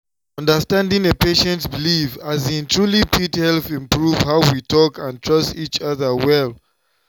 understanding a patient’s beliefs um truly fit help improve how we talk and trust each other well.